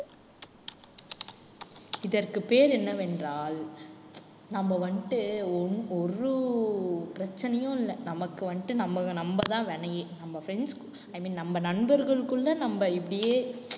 இதற்கு பெயர் என்னவென்றால் நம்ம வந்துட்டு ஒ~ ஒரு பிரச்சனையும் இல்லை. நமக்கு வந்துட்டு நம்ம நம்பதான் வினையே. நம்ம friends i mean நம்ம நண்பர்களுக்குள்ள நம்ம இப்படியே